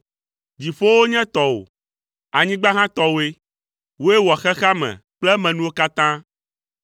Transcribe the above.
Dziƒowo nye tɔwò, anyigba hã tɔwòe; wòe wɔ xexea me kple emenuwo katã.